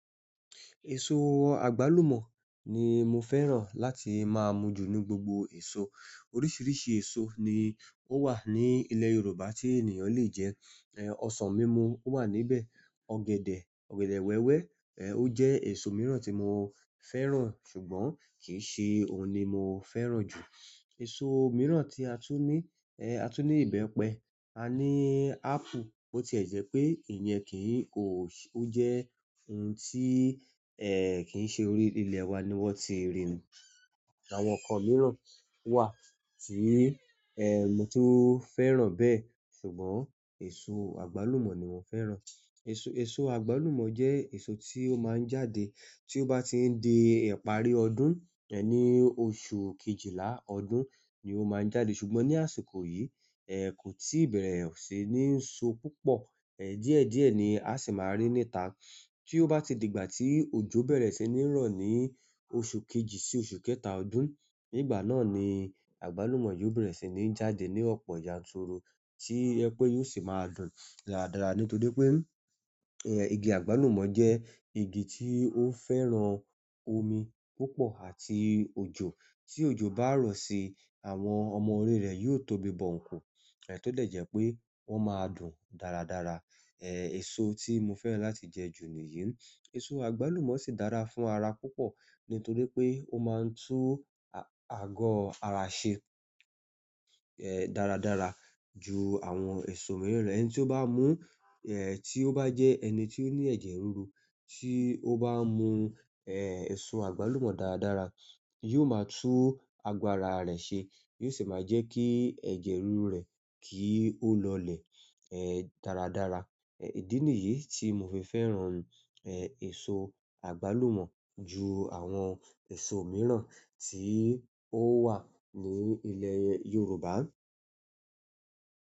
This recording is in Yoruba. Èso àgbálùmọ̀ ni mo fẹ́ràn láti máa mu jù nínú gbogbo èso. Oríṣìíríṣìí èso ni ó wà ní ilẹ̀ Yorùbá tí ènìyàn le jẹ. Osàn mimu o wa níbẹ̀, ọ̀gẹ̀dẹ̀ wéwé o je èsó mìíràn ti mo fẹ́ràn ṣùgbọ́n kí n se òun ni mo fẹ́ràn ju èso mìíràn tí a tún ní, a tún ní ìbẹ́pẹ, a ní apple, bó ti ẹ̀ jẹ́ pé ìyẹn kì í ò--. Ó jẹ́ ohun tí, kí ń ṣe orí ilẹ̀ wa ni wọ́n ti rì. Àwọn nǹkan mìíràn wà tí mo tún fẹ́ràn bẹ́ẹ̀ ṣùgbọ́n èso àgbálùmọ̀ ni mo fẹ́ràn. Èso, èso àgbálùmọ̀ jẹ́ èso tí ó máa ń jáde tí ó bá ti ń di ìparí ọdún, ní oṣù Kejìlá ọdún ni ó máa ń jáde ṣùgbọ́n ní àsìkò yìí, kò tí bẹ̀rẹ̀ sí ní so púpọ̀. Díẹ̀ díẹ̀ ni a sì máa rí níta. Tí ó bá ti di ìgbà tí òjò bẹ̀rẹ̀ sí ní rọ̀ ní oṣù kejì sí oṣù kẹta ọdún, nígbà náà ni àgbálùmọ̀ yóò bẹ̀rẹ̀ sí ní jáde ní ọ̀pọ̀ yanturu tí yẹ pé yóò sì máa dùn dáradára nítorí pé ẹ̀ igi àgbálùmọ̀ jẹ́ igi tí ó ń fẹ́ràn omi púpọ̀ àti òjò. Tí òjò bá rọ̀ sí, àwọn ọmọ orí rẹ̀ yóò tóbi bó ńkù. Tó dẹ̀ jẹ́ pé wọ́n máa dùn dáradára. Èso tí mo fẹ́ràn láti jẹ jù ni yìí. Èso àgbálùmọ̀ sì dára fún ara púpọ̀ nítorí pé ó máa ń tú àgọ́ ara ṣe, dáradára ju àwọn èso mìíràn lọ. Ẹni tí ó bá mú, tí ó bá jẹ́ ẹni tí ó ní ẹ̀jẹ̀ ríru tí ó bá mú èso àgbálùmọ̀ dáradára, yóò máa tú agbára rẹ̀ ṣe, yóò sì máa jẹ́ kí ẹ̀jẹ̀ ríru rẹ̀ kí í ó lọlẹ̀ dáradára. Ìdí nìyí tí mo fi fẹ́ràn èso àgbálùmọ̀ ju àwọn èso mìíràn tí ó wà ní ilẹ̀ Yorùbá.